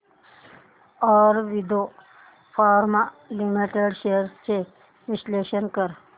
Aurobindo pharma limited shares चे विश्लेषण कर